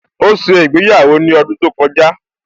Ó ṣe ìgbéyàwó ní ọdún tó kọjá